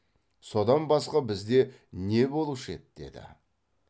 содан басқа бізде не болушы еді деді